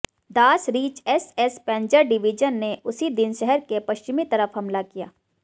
दास Reich SS Panzer division ने उसी दिन शहर के पश्चिमी तरफ हमला किया